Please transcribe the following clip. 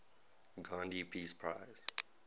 gandhi peace prize